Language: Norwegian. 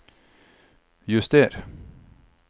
juster